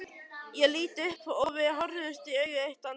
Ég lít upp og við horfumst í augu eitt andartak.